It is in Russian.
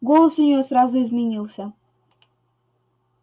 голос у нее сразу изменился